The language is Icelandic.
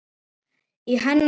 Í hennar anda.